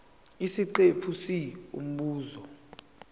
isiqephu c umbuzo